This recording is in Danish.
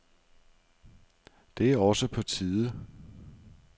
Det er også på tide.